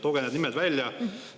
Tooge need nimed välja!